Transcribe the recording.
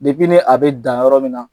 ne a bɛ dan yɔrɔ min na,